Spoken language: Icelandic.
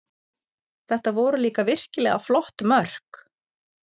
Þetta voru líka virkilega flott mörk